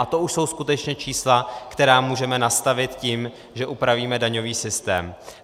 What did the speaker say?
A to už jsou skutečně čísla, která můžeme nastavit tím, že upravíme daňový systém.